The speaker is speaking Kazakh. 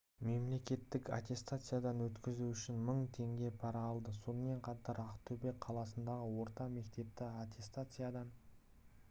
мемлекеттік аттестациядан өткізу үшін мың теңге пара алды сонымен қатар ақтөбе қаласындағы орта мектепті аттестациядан